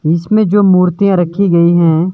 इसमें जो मूर्तियां रखी गई हैं।